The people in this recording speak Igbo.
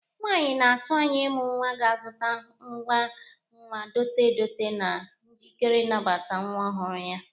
Nwaanyị na-atụ anya ịmụ nnwa ga-azụta ngwa nwa dote edote na njikeri ịnabata nwa ọhụrụ ya.